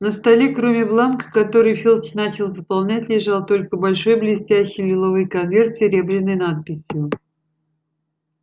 на столе кроме бланка который филч начал заполнять лежал только большой блестящий лиловый конверт с серебряной надписью